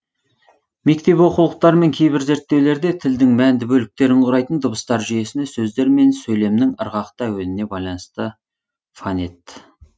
мектеп оқулықтары мен кейбір зерттеулерде тілдің мәнді бөліктерін құрайтын дыбыстар жүйесіне сөздер мен сөйлемнің ырғақты әуеніне байланысты фонет